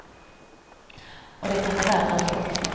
Och det kan bli värre ändå.